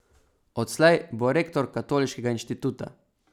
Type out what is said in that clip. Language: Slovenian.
Odslej bo rektor Katoliškega inštituta.